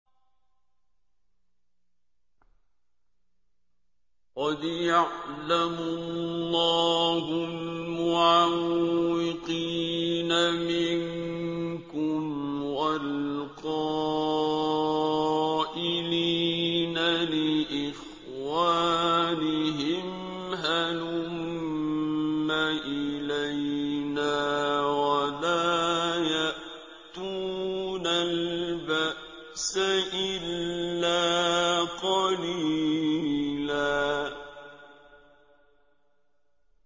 ۞ قَدْ يَعْلَمُ اللَّهُ الْمُعَوِّقِينَ مِنكُمْ وَالْقَائِلِينَ لِإِخْوَانِهِمْ هَلُمَّ إِلَيْنَا ۖ وَلَا يَأْتُونَ الْبَأْسَ إِلَّا قَلِيلًا